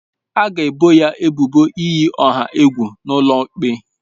A ga-ebo ya ebubo iyi ọha egwu n'ụlọ ikpe.